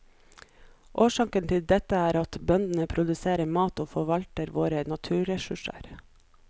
Årsaken til dette er at bøndene produserer mat og forvalter våre naturressurser.